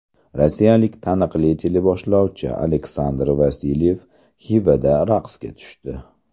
Rossiyalik taniqli teleboshlovchi Aleksandr Vasilyev Xivada raqsga tushdi .